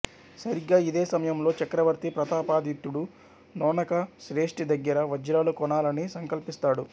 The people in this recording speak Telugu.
సరిగ్గా ఇదే సమయంలో చక్రవర్తి ప్రతాపాదిత్యుడు నోణక శ్రేష్ఠి దగ్గర వజ్రాలు కొనాలని సంకల్పిస్తాడు